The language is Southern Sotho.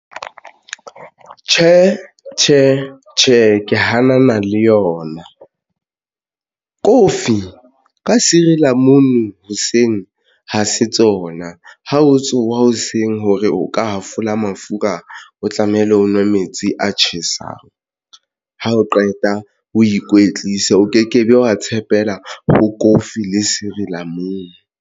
Tjhe, tjhe, tjhe, ke hanana le yona kofi ka sirilamunu hoseng ha se tsona. Ha o tsowa hoseng hore o ka hafola mafura o tlamehile o nwe metsi a tjhesang. Ha o qeta o ikwetlise o ke ke be wa tshepela ho kofi le sirilamunu.